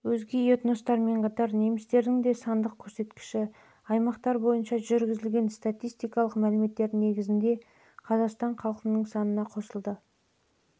өзге этностармен қатар немістердің де сандық көрсеткіші аймақтар бойынша жүргізілген статистикалық мәліметтердің негізінде қазақстан халықтарының оның